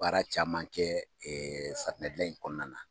Baara caman kɛ safinɛ gilan in kɔnɔna na